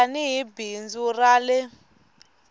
tani hi bindzu ra ie